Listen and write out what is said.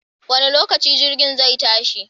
Wanne lokaci jirgin zai tashi?